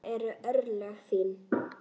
Það eru örlög þín.